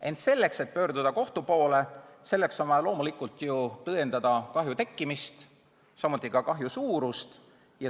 Ent selleks, et pöörduda kohtu poole, on vaja loomulikult tõendada kahju tekkimist, samuti kahju suurust.